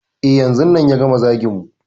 E, yanzun nan ya gama zagin mu.